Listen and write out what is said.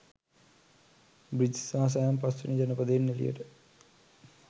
Bridges සහ Sam පස්වෙනි ජනපදයෙන් එලියට